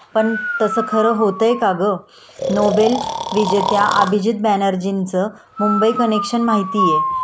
पण तसं खरं होतंय का ग?नोबेल विजेत्या अभिजित बॅनर्जींचं मुंबई कनेक्शन माहितीहे